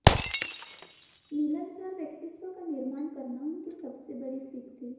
मिलनसार व्यक्त्वि का निर्माण करना उनकी सबसे बड़ी सीख थी